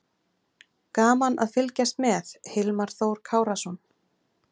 Gaman að fylgjast með: Hilmar Þór Kárason.